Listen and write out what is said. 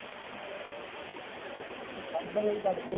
ਪੜ੍ਹਦੇ ਹਾਂ ਬਈ ਪੜ੍ਹਦੇ ਹਾਂ